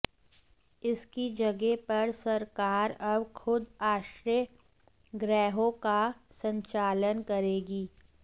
इसकी जगह पर सरकार अब खुद आश्रय गृहों का संचालन करेगी